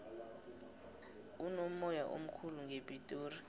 kunomoya omkhulu ngepitori